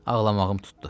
Ağlamağım tutdu.